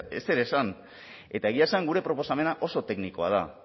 ezer esan eta egia esan gure proposamena oso teknikoa da